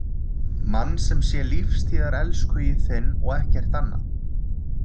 Mann sem sé lífstíðarelskhugi þinn og ekkert annað.